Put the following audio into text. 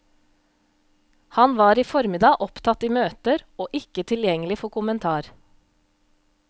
Han var i formiddag opptatt i møter og ikke tilgjengelig for kommentar.